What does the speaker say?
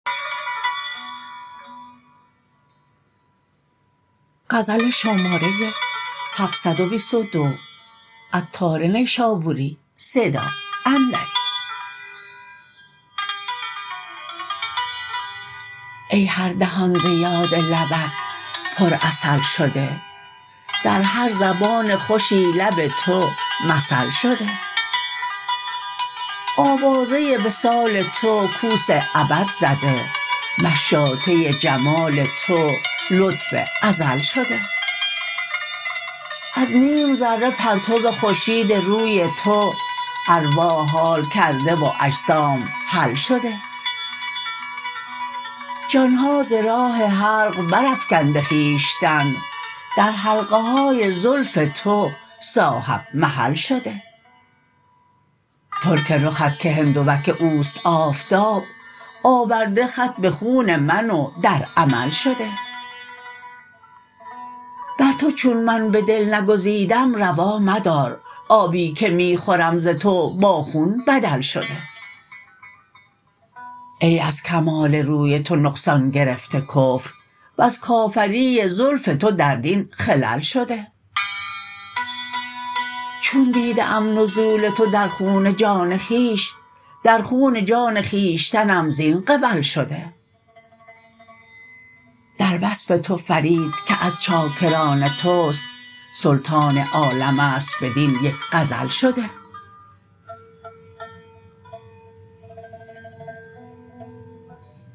ای هر دهان ز یاد لبت پر عسل شده در هر زبان خوشی لب تو مثل شده آوازه وصال تو کوس ابد زده مشاطه جمال تو لطف ازل شده از نیم ذره پرتو خورشید روی تو ارواح حال کرده و اجسام حل شده جان ها ز راه حلق برافکنده خویشتن در حلقه های زلف تو صاحب محل شده ترک رخت که هندوک اوست آفتاب آورده خط به خون من و در عمل شده بر توچون من به دل نگریدم روا مدار آبی که می خورم ز تو با خون بدل شده ای از کمال روی تو نقصان گرفته کفر وز کافری زلف تو در دین خلل شده چون دیده ام نزول تو در خون جان خویش در خون جان خویشتنم زین قبل شده در وصف تو فرید که از چاکران توست سلطان عالم است بدین یک غزل شده